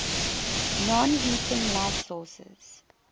non heating light sources